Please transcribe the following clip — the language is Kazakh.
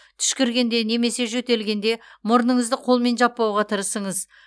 түшкіргенде немесе жөтелгенде мұрныңызды қолмен жаппауға тырысыңыз